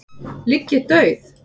ligg ég dauð.